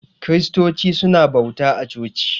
Kiristoci suna bauta a coci.